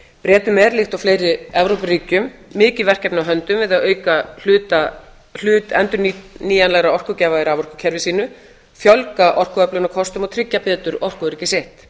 bretum er líkt og fleiri evrópuríkjum mikil verkefni á höndum við að auka hlut endurnýjanlegra orkugjafa í raforkukerfi sínu fjölga orkuöflunarkostum og tryggja betur orkuöryggi sitt